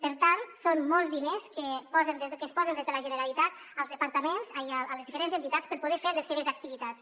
per tant són molts diners que es posen des de la generalitat a les diferents entitats per poder fer les seves activitats